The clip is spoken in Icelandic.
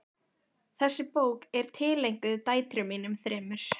Þessi bók er tileinkuð dætrum mínum þremur.